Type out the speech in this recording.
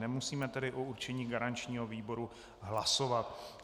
Nemusíme tedy o určení garančního výboru hlasovat.